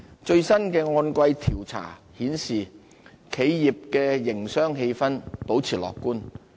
最新的按季調查顯示，企業的營商氣氛保持樂觀。